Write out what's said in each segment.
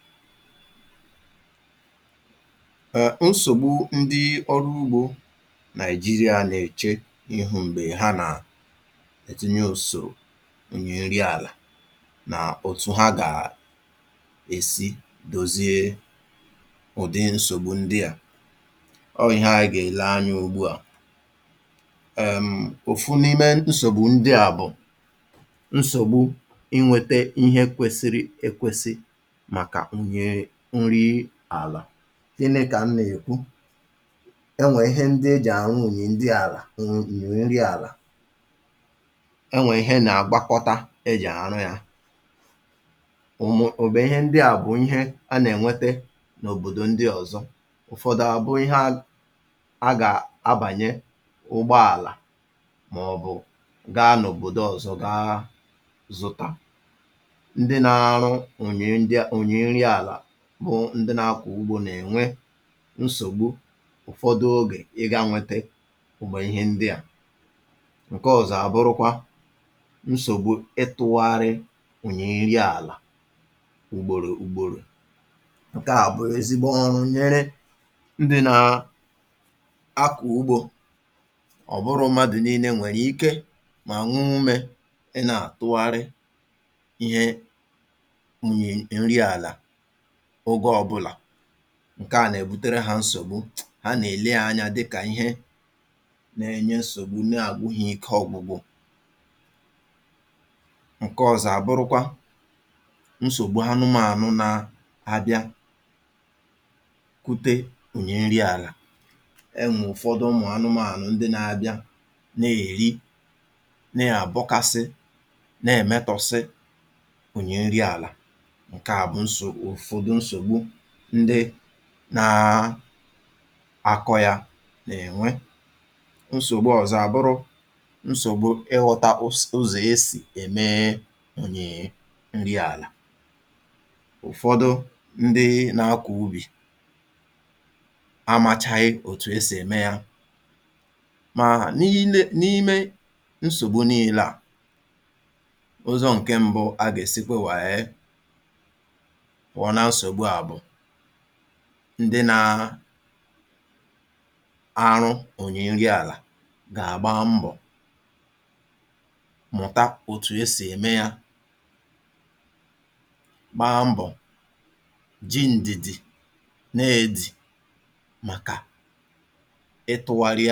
Nsògbu ndị ọrụ ugbò n’Naịjíríà, nsògbu ndị ọrụ ugbò n’Naịjíríà, mgbe ọ bịara n’iji ala na àhụiké ala, iji ala na àhụiké ala, na otú ha gà-esi dozie ụdị nsògbu ndị a, bụ ndị a. Otu nnukwu nsògbu, otu nnukwu nsògbu, bụ̀ àhụiké ala, àhụiké ala. Ihe m bụ̀ n’ihi bụ̀, ihe m bụ̀ n’ihi bụ̀, na ọ bụghị mgbe niile e nwere ihe, ọ bụghị mgbe niile e nwere ihe, eji eme ka ala nwekwuo nri, eji eme ka ala nwekwuo nri. Fẹtilàịza na mkpokọta ihe eji eme nri ala na-adị mgbe ụfọdụ ụkọ, fẹtilàịza na mkpokọta ihe eji eme nri ala na-adị mgbe ụfọdụ ụkọ, ma n’ụfọdụ oge, n’ụfọdụ oge, a gà-ebute ha site n’òbòdò ndị ọzọ, a gà-ebute ha site n’òbòdò ndị ọzọ, maọ̀bụ̀ zụta ha n’ahịa ndị ọzọ, zụta ha n’ahịa ndị ọzọ. Ndị ọrụ ugbò na-ahụkarị ihe isi ike, ndị ọrụ ugbò na-ahụkarị ihe isi ike, n’inweta ihe ndị a, n’inweta ihe ndị a. Nsògbu ọzọ, nsògbu ọzọ, bụ̀ ịkụ̀ ugbò otu ala ugboro ugboro, ịkụ̀ ugbò otu ala ugboro ugboro. Nke a bụ nsogbu dị oke njọ, nke a bụ nsogbu dị oke njọ, maka ndị ọrụ ugbò, maka ndị ọrụ ugbò, n’ihi na ọ bụghị onye ọ bụla nwere akụ, ọ bụghị onye ọ bụla nwere akụ, maọ̀bụ̀ ike, maọ̀bụ̀ ike, iji tụgharịa maọ̀bụ̀ zuru ala ya, iji tụgharịa maọ̀bụ̀ zuru ala ya. Ịkụ̀ ugbò otu ala na-enweghị zuru ike, ịkụ̀ ugbò otu ala na-enweghị zuru ike, na-eme ka ala daa mbà, na-eme ka ala daa mbà. Nsògbu ọzọ, nsògbu ọzọ, bụ̀ anụmànụ̀, anụmànụ̀. Ụmụ̀ anụmànụ̀ ụfọdụ na-abata n’ubi, ụmụ̀ anụmànụ̀ ụfọdụ na-abata n’ubi, na-eri ihe ọkụkụ, na-eri ihe ọkụkụ, na-abọ̀pụ̀ ha, na-abọ̀pụ̀ ha, maọ̀bụ̀ mebie ala, mebie ala, mee ka ndị ọrụ ugbò nwekwuo nsogbu, mee ka ndị ọrụ ugbò nwekwuo nsogbu. Nsògbu ọzọ, nsògbu ọzọ, bụ̀ na a naghị enwe ihe ọmụma zuru oke, a naghị enwe ihe ọmụma zuru oke, banyere otú e si elekọta ala nke ọma, otú e si elekọta ala nke ọma. Ụfọdụ ndị ọrụ ugbò amachaghị, ụfọdụ ndị ọrụ ugbò amachaghị, ụzọ ziri ezi, ụzọ ziri ezi, esi elekọta ala, esi elekọta ala, nke a na-abawanye nsogbu ha, nke a na-abawanye nsogbu ha. Iji dozie nsògbu ndị a, iji dozie nsògbu ndị a, ihe mbù, ihe mbù, bụ̀ ka ndị ọrụ ugbò gbaa mbọ̀, gbaa mbọ̀, mụta ụzọ ziri ezi esi elekọta ala, mụta ụzọ ziri ezi esi elekọta ala. Ha gà-arụ ọrụ n’isi ike, ha gà-arụ ọrụ n’isi ike, na n’ime nhàzi, na n’ime nhàzi, um iji nwee ike hazie, hazie, ma kwado ọrụ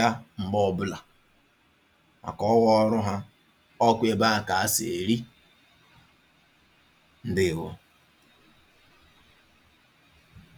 ugbò ha, kwado ọrụ ugbò ha, ka ala ha wee dịrị mma, ka ala ha wee dịrị mma.